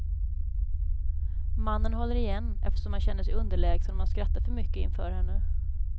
Mannen håller igen, eftersom han känner sig underlägsen om han skrattar för mycket inför henne.